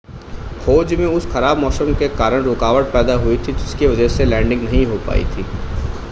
खोज में उस ख़राब मौसम के कारण रुकावट पैदा हुई थी जिसकी वजह से लैंडिंग नहीं हो पाई थी